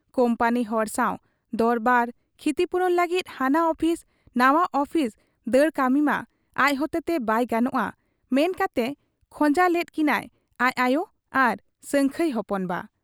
ᱠᱩᱢᱯᱟᱹᱱᱤ ᱦᱚᱲ ᱥᱟᱶ ᱫᱚᱨᱵᱟᱨ, ᱠᱷᱤᱛᱤᱯᱩᱨᱚᱱ ᱞᱟᱹᱜᱤᱫ ᱦᱟᱱᱟ ᱚᱯᱷᱤᱥ ᱱᱟᱶᱟ ᱚᱯᱷᱤᱥ ᱫᱟᱹᱲ ᱠᱟᱹᱢᱤᱢᱟ ᱟᱡ ᱦᱚᱛᱮᱛᱮ ᱵᱟᱭ ᱜᱟᱱᱚᱜ ᱟ ᱢᱮᱱ ᱠᱟᱛᱮ ᱠᱷᱚᱸᱡᱟ ᱞᱮᱫ ᱠᱤᱱᱟᱭ ᱟᱡ ᱟᱭᱚ ᱟᱨ ᱥᱟᱹᱝᱠᱷᱟᱹᱭ ᱦᱚᱯᱚᱱ ᱵᱟ ᱾